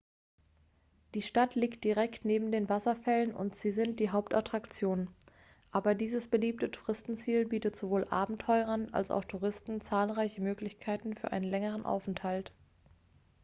die stadt liegt direkt neben den wasserfällen und sie sind die hauptattraktion aber dieses beliebte touristenziel bietet sowohl abenteurern als auch touristen zahlreiche möglichkeiten für einen längeren aufenthalt